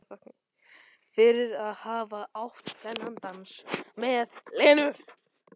Fyrir að hafa átt þennan dans með Lenu.